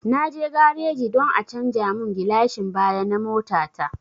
Na je gareji don a canja mun gilashin baya na mota ta